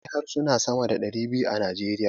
Akwai harsuna sama da ɗari biyu a Najeriya.